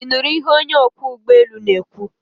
Ị nụrụ ihe onye ọkwọ ụgbọelu na-ekwu?